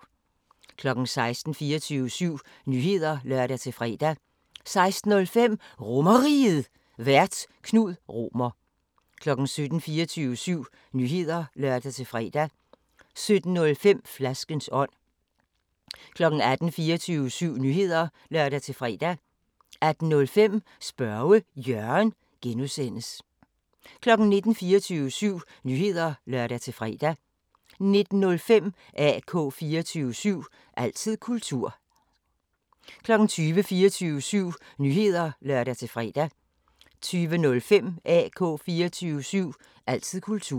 16:00: 24syv Nyheder (lør-fre) 16:05: RomerRiget, Vært: Knud Romer 17:00: 24syv Nyheder (lør-fre) 17:05: Flaskens ånd 18:00: 24syv Nyheder (lør-fre) 18:05: Spørge Jørgen (G) 19:00: 24syv Nyheder (lør-fre) 19:05: AK 24syv – altid kultur 20:00: 24syv Nyheder (lør-fre) 20:05: AK 24syv – altid kultur